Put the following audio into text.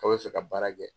K'aw bɛ fɛ ka baara kɛ